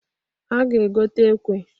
A ga-egota ekwe.